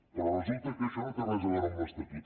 però resulta que això no té res a veure amb l’estatut